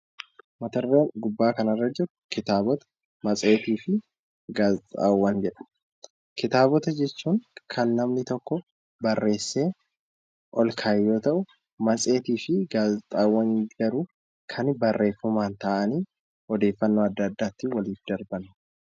Mata dureen gubbaa kanarra jiru kitaabota matseetiifi gaazexaawwan jedha. Kitaabota jechuun kan namni tokko barreesee ol ka'e yoo ta'u matseetiifi gaazexaawwan garuu kan barreeffamaan taa'anii odeeffannoo adda addaa ittiin waliif darban